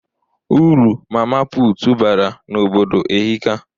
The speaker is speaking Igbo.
Uru Mama puutu bara n'obodo ehika.